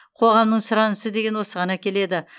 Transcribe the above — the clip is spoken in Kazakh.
қоғамның сұранысы деген осыған әкеледі